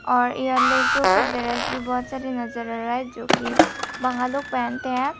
और यह लड़कियों का ड्रेस भी बहुत सारे नजर आ रहा है जो कि बंगाल लोग पहनते हैं।